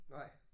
Nej